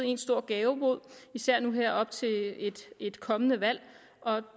én stor gavebod især nu her op til et kommende valg